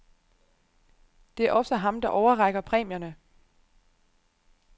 Det er også ham, der overrækker præmierne.